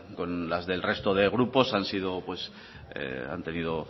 con las del resto de grupos han tenido